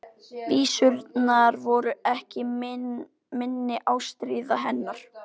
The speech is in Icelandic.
Vísurnar voru ekki minni ástríða hennar.